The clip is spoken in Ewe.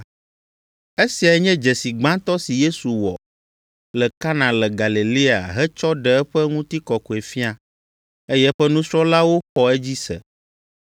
Esiae nye dzesi gbãtɔ si Yesu wɔ le Kana le Galilea hetsɔ ɖe eƒe Ŋutikɔkɔefia, eye eƒe nusrɔ̃lawo xɔ edzi se.